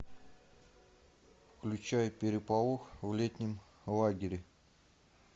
включай переполох в летнем лагере